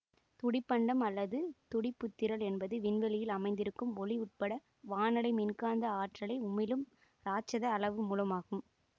துடிப்பண்டம் அல்லது துடிப்புத்திரள் என்பது விண்வெளியில் அமைந்திருக்கும் ஒளி உட்பட வானலை மின்காந்த ஆற்றலை உமிழும் ராட்சத அளவு மூலமாகும்